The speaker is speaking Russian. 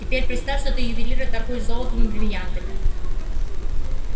теперь представь что ты ювелир и торгуешь золотом и брильянтами